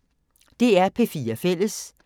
DR P4 Fælles